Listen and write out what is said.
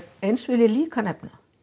eins og ég vil líka nefna